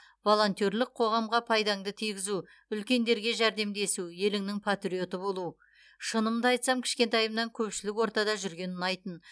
волонтерлік қоғамға пайдаңды тигізу үлкендерге жәрдемдесу еліңнің патриоты болу шынымды айтсам кішкентайымнан көпшілік ортада жүрген ұнайтын